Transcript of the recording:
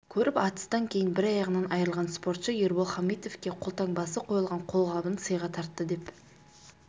көріп атыстан кейін бір аяғынан айырылған спортшы ербол хамитовке қолтаңбасы қойылған қолғабын сыйға тартты деп